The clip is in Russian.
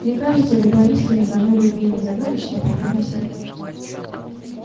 мне кажется любая истина должна быть менее загадочна и понятна всем